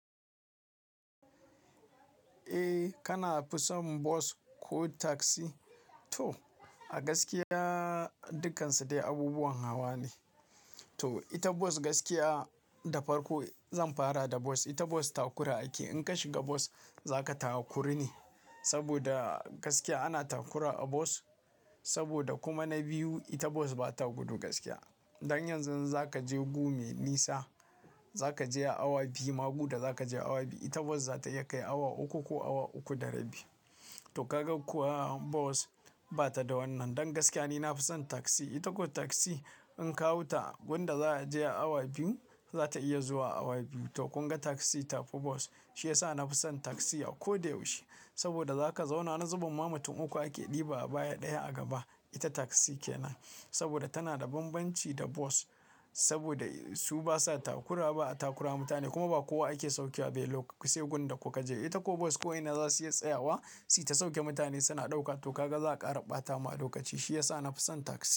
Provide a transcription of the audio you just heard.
Eh kana fison bos ko taksi? To a gaskiya dukkansu dai abubuwan hawa ne. To ita bos gaskiya da farko zan fara da bos. Ita bos takura ake. In ka shiga bos zaka taa kuru ne saboda gaskiya ana takura a bos. Saboda kuma na biyu, ita bos bata gudu gaskiya. Dan yanzu zan zaka je gumi nisa, zaka je a awa biyu. Ma guɗa za ka je awa biyu. Ita bos za ta iya kai awa uku ko awa uku da rabi. To kagag ku bos bata da wannan. Dan gaskiya ni na fi son taksi. Ita ko taksi in ka hau ta, gunda za a je a awa biyu za ta iya zuwa a awa biyu. To kun ga taksi ta fi bos shiyasa na fi son taksi a ko da yaushe. Saboda zaka zauna na zuben ma mutum uku ake ɗiba a baya ɗaya a gaba. Ita taksi kenan. Saboda tana da banbanci da bos. Saboda su basa takura ba a takura mutane kuma ba kowa ake sauke wa ba a belok. Ki sai gunda kuka je. Ita ko bos ko ina za su iya tsayawa si ta sauke mutane suna ɗauka to kagag za ka karɓa tamu a lokaci. Shiyasa na fi son taksi.